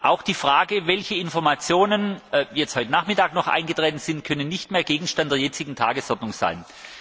Auch die Frage, welche Informationen heute Nachmittag noch eingetroffen sind, kann nicht mehr Gegenstand der jetzigen Tagesordnung sein.